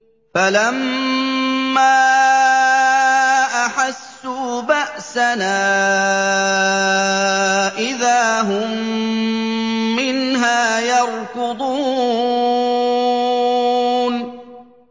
فَلَمَّا أَحَسُّوا بَأْسَنَا إِذَا هُم مِّنْهَا يَرْكُضُونَ